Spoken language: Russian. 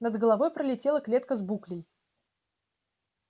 над головой пролетела клетка с буклей